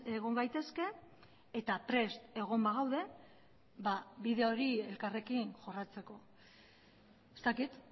egon gaitezke eta prest egon bagaude bide hori elkarrekin jorratzeko ez dakit